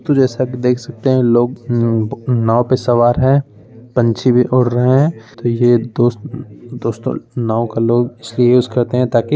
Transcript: तो जैसा की देख सकते हैं लोग नु नाव पे सवार है पंछी भी उड़ रहे हैं| तो ये दोस दोस्तों नाव का लोग इसलिए यूज करते हैं ताकि --